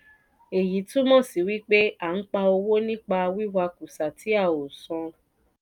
èyí túmọ̀ sí wípé a n pa owó nípa wí wà kùsà tí a ò san.